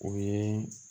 O ye